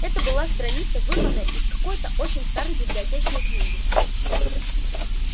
это была страница вырванная из какой-то очень старой библиотечной книги